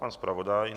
Pan zpravodaj?